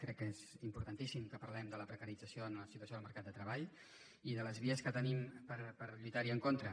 crec que és importantíssim que parlem de la precarització en la situació del mercat de treball i de les vies que tenim per lluitar hi en contra